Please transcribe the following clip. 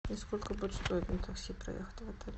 и сколько будет стоить на такси проехать в отель